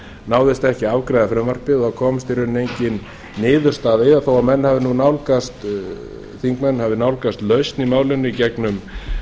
náðist ekki að afgreiða frumvarpið og komst í rauninni engin niðurstaða þó að þingmenn hafi nálgast lausn í málinu gegnum